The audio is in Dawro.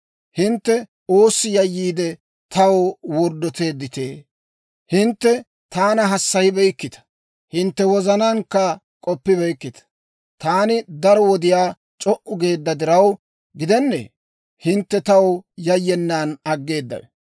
«Hintte oossi yayyiide, taw worddoteedditee? Hintte taana hassayibeykkita; hintte wozanaankka k'oppibeykkita. Taani daro wodiyaa c'o"u geedda diraw gidennee, hintte taw yayyenan aggeedawe?